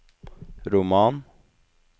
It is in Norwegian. roman